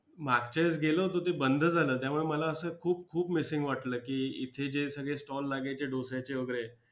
मागच्या वेळेस गेलो होतो ते बंद झालं त्यामुळे मला असं खूप खूप missing वाटलं की इथे जे सगळे stall लागायचे डोश्याचे वगैरे